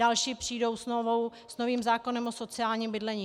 Další přijdou s novým zákonem o sociálním bydlení.